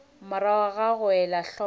morago ga go ela hloko